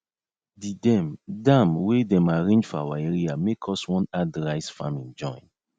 the dem dam wey dem arrange for our area make us one add rice faming join